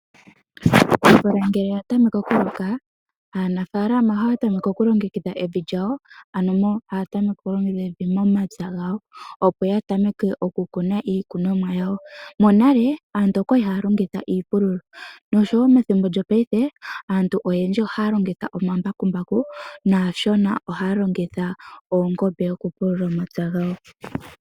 Omvula ngele ya tameke okuloka, aanafaalama ohaya tameke oku longekidha evi lyawo , ano taya tameke okulongekidha evi momapya gawo. opo ya temeke okukuna iikunomwa yawo. Monale, aantu oya li haya longitha iipululo nosho wo methimbo lyopaife, aantu oyendji ohaya longitha omambakumbaku naashona ohaa longitha oongombe oku pulula omapya gawo.